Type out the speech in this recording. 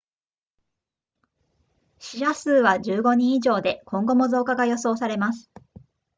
死者数は15人以上で今後も増加が予想されます